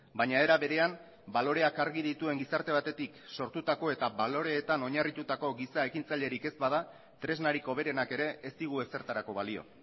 baina era berean baloreak argi dituen gizarte batetik sortutako eta baloreetan oinarritutako giza ekintzailerik ez bada tresnarik hoberenak ere ez digu ezertarako balio